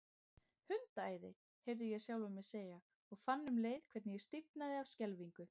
Hundaæði, heyrði ég sjálfan mig segja, og fann um leið hvernig ég stífnaði af skelfingu.